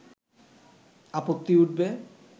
আপত্তি উঠবে